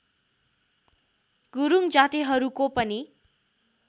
गुरूङ जातिहरूको पनि